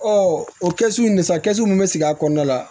o kɛsu in na sa mun be sigi a kɔnɔna la